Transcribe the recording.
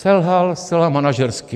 Selhal zcela manažersky.